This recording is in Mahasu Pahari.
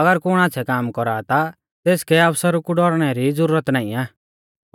अगर कुण आच़्छ़ै काम कौरा आ ता तेसकै आफसरु कु डौरणै री ज़ुरत नाईं आ